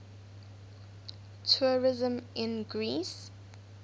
tourism in greece